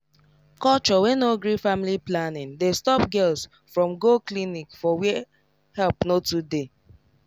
culture wey no gree family planning dey stop girls from go clinic for where help no too dey